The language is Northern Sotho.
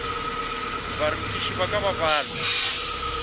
bathuši ba ka ba balwa